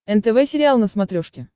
нтв сериал на смотрешке